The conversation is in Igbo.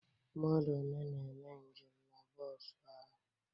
Mmadụ one na-eme njem na bọọsu ahụ?